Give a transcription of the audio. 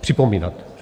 připomínat.